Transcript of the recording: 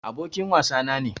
Abokin wasa na ne.